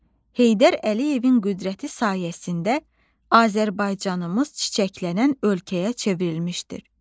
Heydər Əliyevin qüdrəti sayəsində Azərbaycanımız çiçəklənən ölkəyə çevrilmişdir.